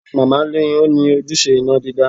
Màmá ni ó ni ojúṣe iná dídá